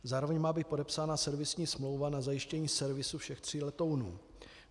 Zároveň má být podepsána servisní smlouva na zajištění servisu všech tří letounů.